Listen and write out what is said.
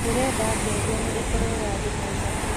ndĩrenda ngengere ikirwo ya thĩnacara